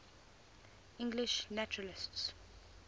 english naturalists